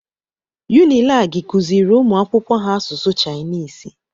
Unilagi kuziri umuakwụkwọ ha asụsụ Chainisi